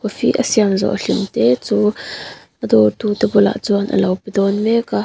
coffee a siam zawh hlim te chu a dawr tu te bulah chuan alo pe dawn mek a.